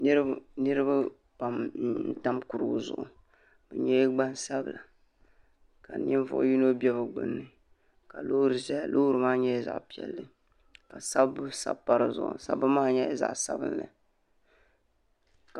Niriba pam n tam kurugu zuɣu bɛ nyɛla gbansabla ka ninvuɣu yino be bɛ gbinni ka loori ʒɛya loori maa nyɛla zaɣa piɛlli ka sabbu sabi pa dizuɣu sabbu maa nyɛla zaɣa sabinli.